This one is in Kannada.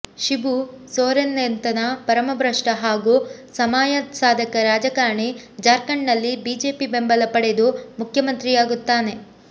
ಶಿಬು ಸೊರೇನ್ನಂಥ ಪರಮಭ್ರಷ್ಟ ಹಾಗೂ ಸಮಯಸಾಧಕ ರಾಜಕಾರಣಿ ಜಾರ್ಖಂಡ್ನಲ್ಲಿ ಬಿಜೆಪಿ ಬೆಂಬಲ ಪಡೆದು ಮುಖ್ಯಮಂತ್ರಿಯಾಗುತ್ತಾನೆ